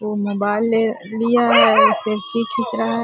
वो मोबाइल ले लिया है वो सेल्फी खिंच रहा है।